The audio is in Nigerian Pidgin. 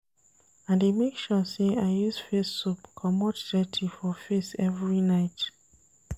I dey make sure sey I use face soap comot dirty for face every night.